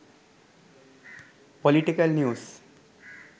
political news